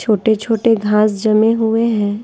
छोटे-छोटे घास जमे हुए हैं।